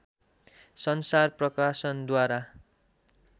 संसार प्रकाशनद्वारा